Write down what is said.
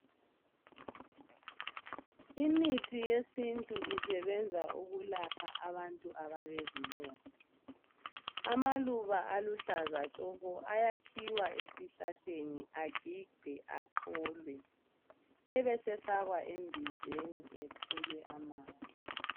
Imithi yesintu isebenza ukulapha abantu abalezilonda amaluba aluhlaza tshoko ayakhiwa esihlahleni agigwe acholwe ebesefakwa embizeni ethelwe amanzi.